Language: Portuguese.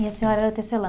E a senhora era tecelã?